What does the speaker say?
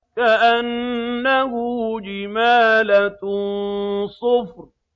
كَأَنَّهُ جِمَالَتٌ صُفْرٌ